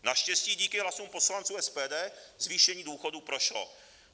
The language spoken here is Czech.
Naštěstí díky hlasům poslanců SPD zvýšení důchodů prošlo.